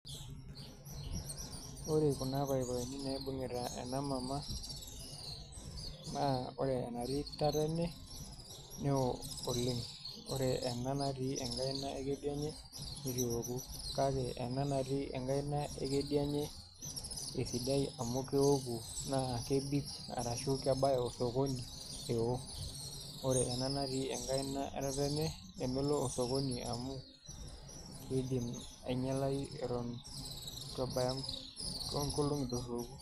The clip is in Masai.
Ore kuna papaeni naibung'ita ena mama naa Ore enatii tatene neeo oleng' Ore ena natii enkaina kedianye nitu eoku kake ena natii enkaina ekedianye esidai amu keoku naa kebik arashu